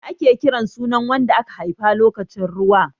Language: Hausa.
Ya ake kiran sunan wanda aka haifa lokacin ruwa?